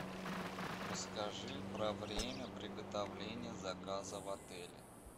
расскажи про время приготовления заказа в отеле